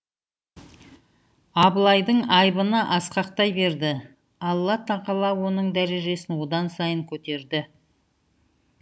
абылайдың айбыны асқақтай берді алла тағала оның дәрежесін одан сайын көтерді